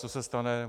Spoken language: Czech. Co se stane?